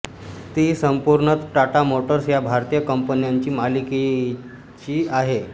ती संपूर्णतः टाटा मोटर्स या भारतीय कंपनीच्या मालकीची आहे